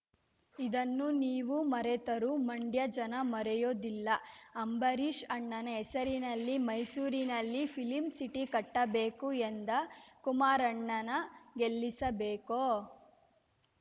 ಇದನ್ನ ನೀವು ಮರೆತರೂ ಮಂಡ್ಯ ಜನ ಮರೆಯೋದಿಲ್ಲ ಅಂಬರೀಷ್‌ ಅಣ್ಣನ ಹೆಸರಿನಲ್ಲಿ ಮೈಸೂರಿನಲ್ಲಿ ಫಿಲ್ಮ ಸಿಟಿ ಕಟ್ಟಬೇಕು ಎಂದ ಕುಮಾರಣ್ಣನ ಗೆಲ್ಲಿಸಬೇಕೋ